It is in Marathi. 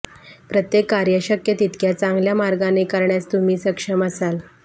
प्रत्येक कार्य शक्य तितक्या चांगल्या मार्गाने करण्यास तुम्ही सक्षम असाल